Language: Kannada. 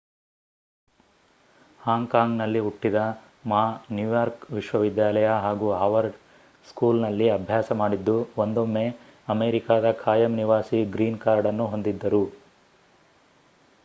ಹಾಂಗ್ ಕಾಂಗ್ ನಲ್ಲಿ ಹುಟ್ಟಿದ ಮಾ ನ್ಯೂಯಾರ್ಕ್ ವಿಶ್ವ ವಿದ್ಯಾಲಯ ಹಾಗೂ ಹಾರ್ವರ್ಡ್ ಸ್ಕೂಲ್ ನಲ್ಲಿ ಅಭ್ಯಾಸ ಮಾಡಿದ್ದು ಒಂದೊಮ್ಮೆ ಅಮೇರಿಕಾದ ಖಾಯಂ ನಿವಾಸಿ ಗ್ರೀನ್ ಕಾರ್ಡ್ ಅನ್ನು ಹೊಂದಿದ್ದರು